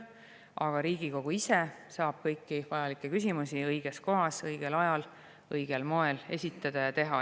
Aga Riigikogu ise saab kõiki vajalikke küsimusi õiges kohas, õigel ajal ja õigel moel esitada.